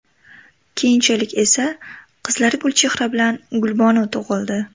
Keyinchalik esa, qizlari Gulchehra bilan Gulbonu tug‘ildi.